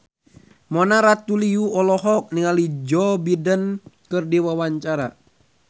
Mona Ratuliu olohok ningali Joe Biden keur diwawancara